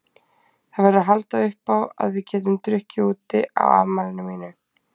Það verður að halda uppá að við getum drukkið úti á afmælinu mínu.